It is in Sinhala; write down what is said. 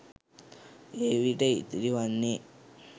එවිට ඉතිරිවන්නේ